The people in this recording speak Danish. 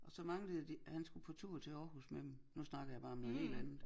Og så manglede de han skulle på tur til Aarhus med dem. Nu snakker jeg bare om noget helt andet